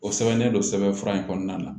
O sɛbɛnnen don sɛbɛnfura in kɔnɔna na